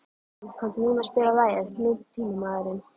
Hólm, kanntu að spila lagið „Nútímamaður“?